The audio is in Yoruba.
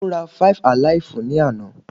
Tá ló rá five-alaifu ni àna?